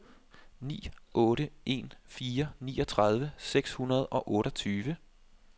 ni otte en fire niogtredive seks hundrede og otteogtyve